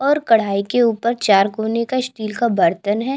और कढ़ाई के ऊपर चार कोने का स्टील का बर्तन है।